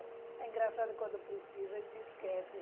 É engraçado, quando precisa, a gente esquece.